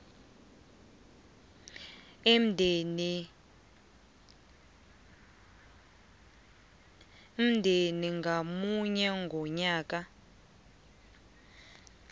umndeni ngamunye ngomnyaka